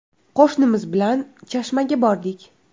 Qo‘shnimiz bilan Chashmaga bordik.